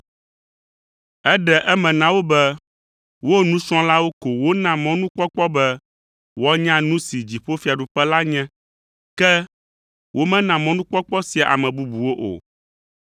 Eɖe eme na wo be wo nusrɔ̃lawo ko wona mɔnukpɔkpɔ be woanya nu si dziƒofiaɖuƒe la nye, ke womena mɔnukpɔkpɔ sia ame bubuwo o.